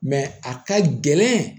a ka gɛlɛn